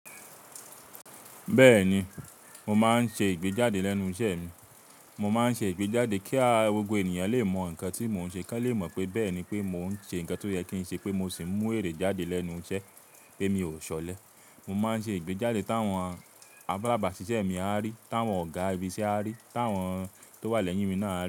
Bẹ́ẹ̀ni, mo máa ń ṣe ìgbéjáde lẹ́nu iṣẹ́ mi. Mo máa ń ṣe ìgbéjáde kí awon gbogbo ènìyàn lè mọ nǹkan tí mò ń ṣe, kí wọ́n lè mọ pé bẹ́ẹ̀ni pé mò ń ṣe nǹkan tó yẹ kí n ṣe pé mo sì mú èrè jáde lẹ́nu iṣẹ́ pé mi ò ṣọlẹ. Mo máa ń ṣe ìgbéjáde táwọn alábàásisẹ́mi á rí, táwọn ọ̀gá ibi iṣẹ́ á rí, táwọn tó wà lẹ́yìn mi náà á rí.